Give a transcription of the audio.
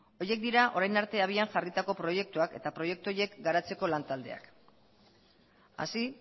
horiek dira orain arte abian jarritako proiektuak eta proiektu horiek garatzeko lan taldeak así